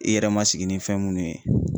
I yɛrɛ ma sigi ni fɛn munnu ye.